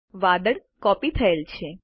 વાદળ કોપી થયેલ છે